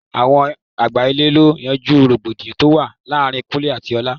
Àwọn àgbà ilé lọ yanjú rògbòdìyàn tó wà láàárín Kúnlẹ́ àti ọlá.